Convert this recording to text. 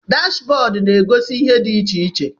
Dashbọd na-egosi ihe dị iche iche.